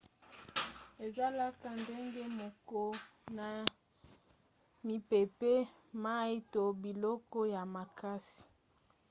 ezalaka ndenge moko na mipepe mai to biloko ya makasi